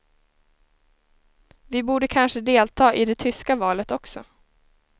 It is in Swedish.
Vi borde kanske delta i det tyska valet också.